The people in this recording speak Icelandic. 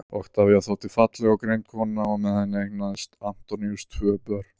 oktavía þótti falleg og greind kona og með henni eignaðist antoníus tvö börn